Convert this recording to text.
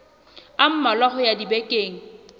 a mmalwa ho ya dibekeng